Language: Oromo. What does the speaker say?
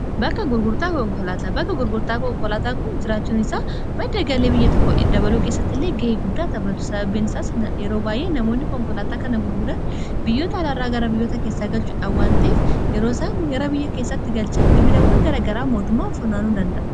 Bakka gurgurtaa konkolaataa. bakka gurgurtaa konkolaataan kun jiraachun isaa madda galii biyya tokko dabaluu keessatti illee ga'ee guddaa taphatu sababbiin isaa yeroo baay'ee namoonni konkolaataa kana gurguran biyyoota alaarraa gara biyyoota keessaa galchuudha waanta'eef yeroosan gara biyya keessatti galcha gibirawwan gara garaa mootumaan funaanuu danda'a.